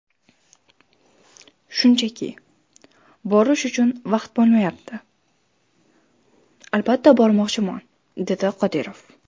Shunchaki, borish uchun vaqt bo‘lmayapti... Albatta bormoqchiman”, dedi Qodirov.